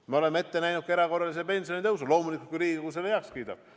Me oleme ette näinud ka erakorralise pensionitõusu – loomulikult, kui Riigikogu selle heaks kiidab.